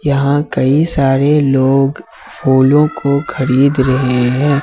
यहां कई सारे लोग फूलों को खरीद रहे हैं।